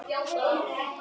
Þorgils og Ámundi Guðni.